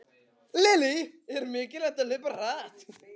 Lillý: Er mikilvægt að hlaupa hratt?